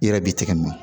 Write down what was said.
I yɛrɛ b'i tɛgɛ minɛ